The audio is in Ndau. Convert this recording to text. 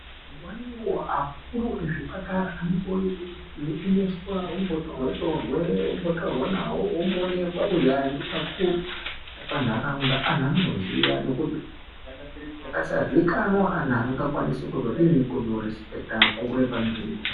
Nguwa nenguwa kuri kuzvipatara zvinode unomboyemeswa wombotorwe torwe wombotaurwa nawo womboonekwa kuzi aya ndo vakuru vepanharaunda anhu anoziya nekuti akasaziyikanwa anhu wavazokwanise kuzodini kuzorisipekita wakuru wepanzvimbo.